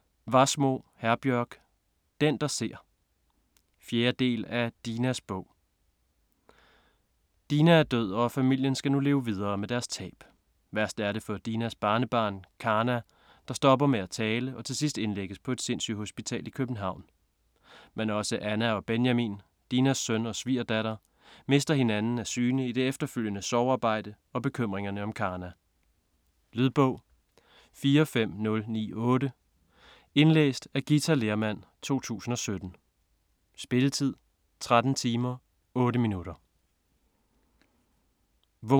Wassmo, Herbjørg: Den der ser 4. del af Dinas bog. Dina er død og familien skal nu leve videre med deres tab. Værst er det for Dinas barnebarn Karna, der stopper med at tale og til sidst indlægges på et sindssygehospital i København. Men også Anna og Benjamin, Dinas søn og svigerdatter, mister hinanden af syne i det efterfølgende sorgarbejde og bekymringerne om Karna. Lydbog 45098 Indlæst af Githa Lehrmann, 2017. Spilletid: 13 timer, 8 minutter.